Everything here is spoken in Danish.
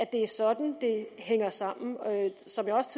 det er sådan det hænger sammen som jeg også